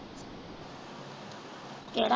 ਕਿਹੜਾ।